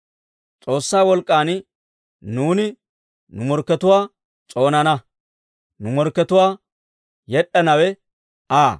S'oossaa wolk'k'an nuuni nu morkkatuwaa s'oonana; nu morkkatuwaa yed'd'anawe Aa.